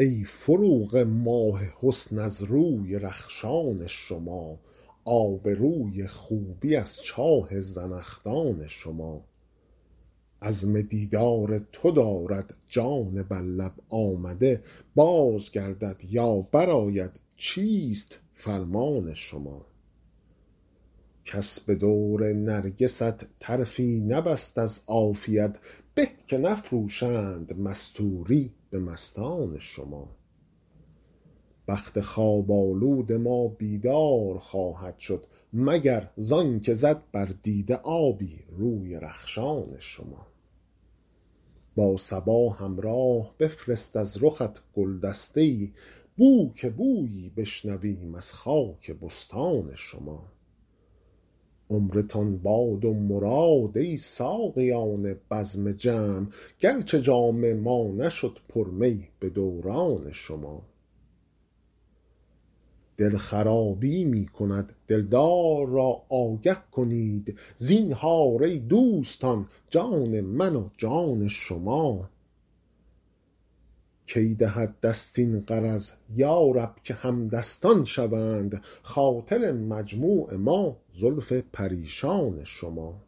ای فروغ ماه حسن از روی رخشان شما آب روی خوبی از چاه زنخدان شما عزم دیدار تو دارد جان بر لب آمده باز گردد یا برآید چیست فرمان شما کس به دور نرگست طرفی نبست از عافیت به که نفروشند مستوری به مستان شما بخت خواب آلود ما بیدار خواهد شد مگر زان که زد بر دیده آبی روی رخشان شما با صبا همراه بفرست از رخت گل دسته ای بو که بویی بشنویم از خاک بستان شما عمرتان باد و مراد ای ساقیان بزم جم گرچه جام ما نشد پر می به دوران شما دل خرابی می کند دلدار را آگه کنید زینهار ای دوستان جان من و جان شما کی دهد دست این غرض یا رب که همدستان شوند خاطر مجموع ما زلف پریشان شما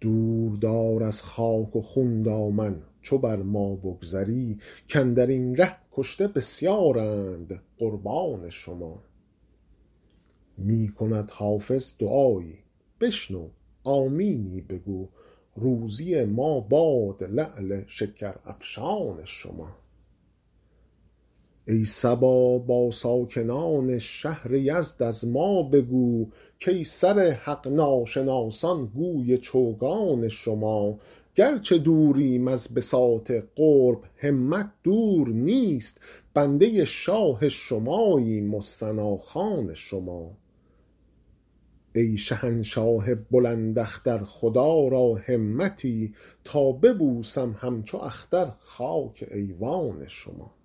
دور دار از خاک و خون دامن چو بر ما بگذری کاندر این ره کشته بسیارند قربان شما می کند حافظ دعایی بشنو آمینی بگو روزی ما باد لعل شکرافشان شما ای صبا با ساکنان شهر یزد از ما بگو کای سر حق ناشناسان گوی چوگان شما گرچه دوریم از بساط قرب همت دور نیست بنده شاه شماییم و ثناخوان شما ای شهنشاه بلند اختر خدا را همتی تا ببوسم همچو اختر خاک ایوان شما